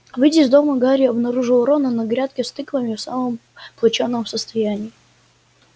выйдя из дома гарри обнаружил рона на грядке с тыквами в самом плачевном состоянии